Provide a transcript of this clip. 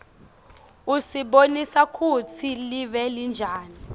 usibonisa kutsi live linjani